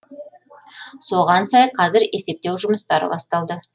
соған сай қазір есептеу жұмыстары басталды